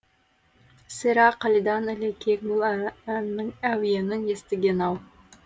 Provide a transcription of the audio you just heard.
сірә қалидан ілекең бұл әннің әуенін естіген ау